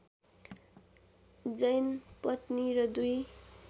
जैन पत्नी र दुई